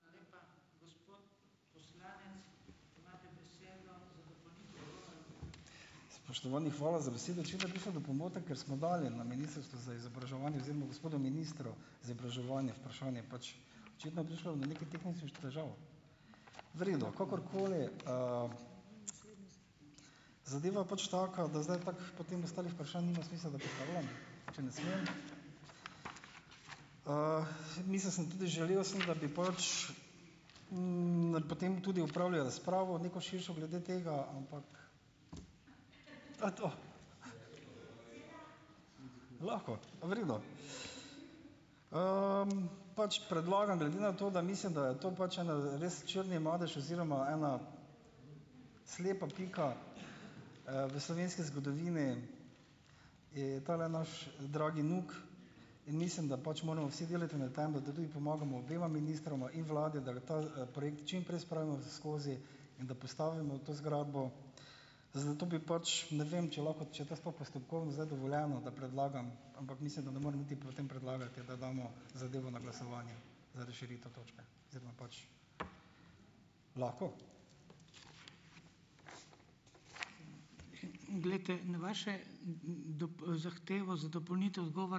Spoštovani, hvala za besedo. Očitno je prišlo do pomote, ker smo dali na Ministrstvo za izobraževanje oziroma gospodu ministru za izobraževanje vprašanje, pač očitno je prišlo do nekih tehničnih težav! V redu, kakorkoli. Zadeva je pač taka, da zdaj tako potem ostalih vprašanj nima smisla, da postavljam, če ne smem. Mislil sem tudi, želel sem, da bi pač, potem tudi opravili razpravo neko širšo glede tega, ampak to je to. Lahko, v redu. Pač predlagam glede na to, da mislim, da je to pač en res črni mladež oziroma ena slepa pika, v slovenski zgodovini je tale naš dragi NUK in mislim, da pač moramo pač vsi delati na tem, da tudi pomagamo obema ministroma in vladi, da ga ta, projekt čimprej spravimo skozi in da postavimo to zgradbo, zato bi pač, ne vem, če lahko, če je to sploh postopkovno zdaj dovoljeno, da predlagam, ampak mislim, da ne morem niti potem predlagati, da damo zadevo na glasovanje za razširitev točke. Oziroma pač. Lahko?